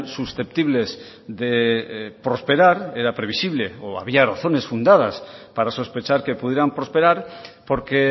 susceptibles de prosperar era previsible o había razones fundadas para sospechar que pudieran prosperar porque